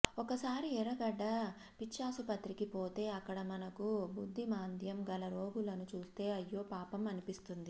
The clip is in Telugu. ఒక్కసారి ఎర్రగడ్డ పిచ్చాసుపత్రికి పోతే అక్కడ మనకు బుద్ధిమాంద్యం గల రోగులను చూస్తే అయ్యో పాపం అనిపిస్తుంది